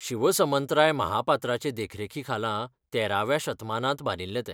शिवसमंतराय महापात्राचे देखरेखीखाला तेराव्या शतमानांत बांदिल्लें तें.